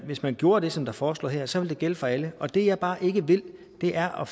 hvis man gjorde det som der foreslås her så ville det gælde for alle og det jeg bare ikke vil er at